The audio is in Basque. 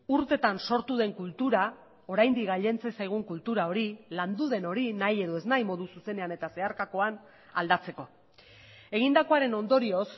urtetan sortu den kultura oraindik gailentzen zaigun kultura hori landu den hori nahi edo ez nahi modu zuzenean eta zeharkakoan aldatzeko egindakoaren ondorioz